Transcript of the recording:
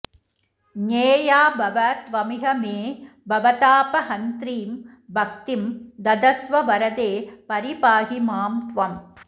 ज्ञेया भव त्वमिह मे भवतापहन्त्रीं भक्तिं ददस्व वरदे परिपाहि मां त्वम्